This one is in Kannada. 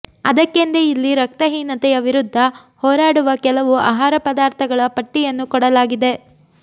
ಅದಕ್ಕೆಂದೇ ಇಲ್ಲಿ ರಕ್ತಹೀನತೆಯ ವಿರುದ್ಧ ಹೋರಾಡುವ ಕೆಲವು ಆಹಾರ ಪದಾರ್ಥಗಳ ಪಟ್ಟಿಯನ್ನು ಕೊಡಲಾಗಿದೆ